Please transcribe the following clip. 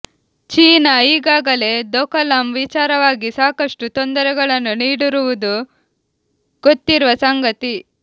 China ಈಗಾಗಲೇ ದೋಕಲಂ ವಿಚಾರವಾಗಿ ಸಾಕಷ್ಟು ತೊಂದರೆಗಳನ್ನು ನೀಡಿರುವುದು ಗೊತ್ತಿರುವ ಸಂಗತಿ